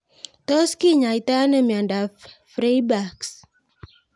Tos kinyoitoi ano miondop Freiberg's